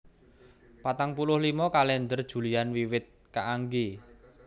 Patang puluh limo Kalèndher Julian wiwit kaanggé